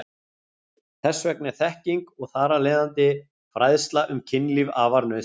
Þess vegna er þekking og þar af leiðandi fræðsla um kynlíf afar nauðsynleg.